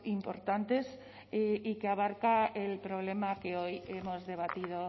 importantes y que abarca el problema que hoy hemos debatido